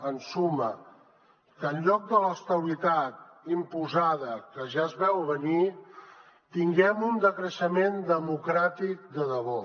en suma que en lloc de l’estabilitat imposada que ja es veu a venir tinguem un decreixement democràtic de debò